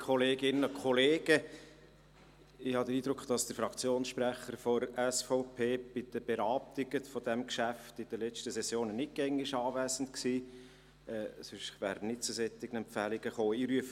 Ich habe den Eindruck, dass der Fraktionssprecher der SVP während den Beratungen dieses Geschäfts in der letzten Session nicht immer anwesend war, sonst wäre er nicht zu solchen Empfehlungen gekommen.